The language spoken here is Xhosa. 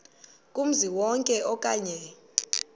kumzi wonke okanye